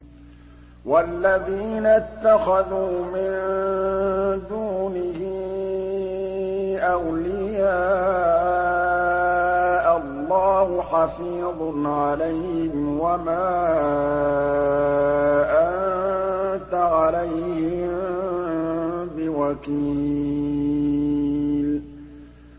وَالَّذِينَ اتَّخَذُوا مِن دُونِهِ أَوْلِيَاءَ اللَّهُ حَفِيظٌ عَلَيْهِمْ وَمَا أَنتَ عَلَيْهِم بِوَكِيلٍ